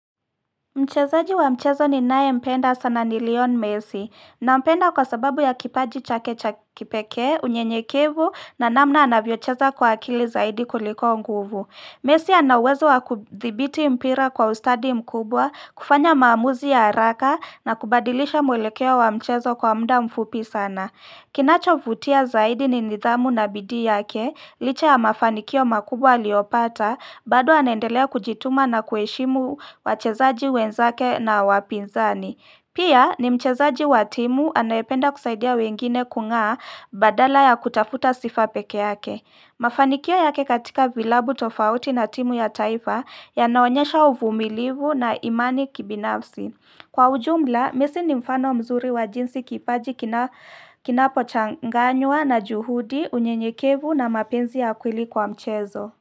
Mchezaji wa mchezo ninayempenda sana Lionel messi. Nampenda kwa sababu ya kipaji chake cha kipekee, unyenyekevu na namna anavyocheza kwa akili zaidi kuliko nguvu. Messi ana uwezo wa kudhibiti mpira kwa ustadi mkubwa, kufanya maamuzi ya haraka na kubadilisha mwelekeo wa mchezo kwa muda mfupi sana. Kinachovutia zaidi ni nidhamu na bidii yake, licha ya mafanikio makubwa aliyopata, bado anaendelea kujituma na kuheshimu wachezaji wenzake na wapinzani. Pia ni mchezaji wa timu anayependa kusaidia wengine kungaa badala ya kutafuta sifa peke yake. Mafanikio yake katika vilabu tofauti na timu ya taifa yanaonyesha uvumilivu na imani kibinafsi. Kwa ujumla, messi ni mfano mzuri wa jinsi kipaji kinapochanganywa na juhudi, unyenyekevu na mapenzi ya kweli kwa mchezo.